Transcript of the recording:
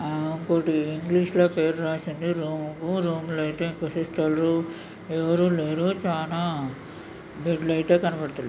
ఆ ఫోటో ఇంగ్లీషులో పేరు రాసింది. రూము రూం లో అయితే ఇంకో సిస్టరు ఎవరు లేరు. చానా బెడ్ లయితే కనపడతాన్నాయ్.